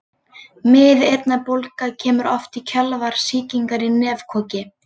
Miðeyrnabólga kemur oft í kjölfar sýkingar í nefkoki.